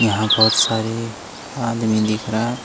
यहां बहोत सारे आदमी दिख रहा।